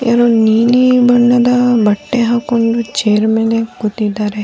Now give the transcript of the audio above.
ಯಾರೊ ನೀಲಿ ಬಣ್ಣದ ಬಟ್ಟೆ ಹಾಕೊಂಡು ಚೇರ್ ಮೇಲೆ ಕೂತಿದ್ದಾರೆ .